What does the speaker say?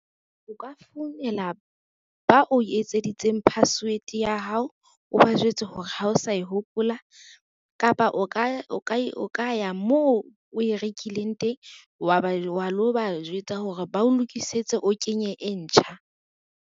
O ka founela ba o etseditseng password ya hao. O ba jwetse hore ha o sa e hopola kapa, o ka ya moo o e rekileng teng, wa lo ba jwetsa hore ba o lokisetse o kenye e ntjha.